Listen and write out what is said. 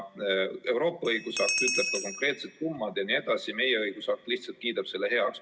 Euroopa õigusakt ütleb ka konkreetsed summad jne, meie õigusakt lihtsalt kiidab selle heaks.